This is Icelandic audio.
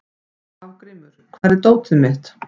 Hafgrímur, hvar er dótið mitt?